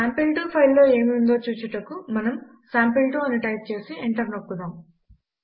sample2 file లో ఏమి ఉందో చూచుటకు మనము సాంపిల్2 అని టైప్ చేసి ఎంటర్ నొక్కుదాం